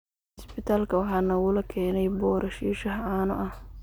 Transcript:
Cisbitaalka waxa nalagu keenay Boorash iyo shaah caano ah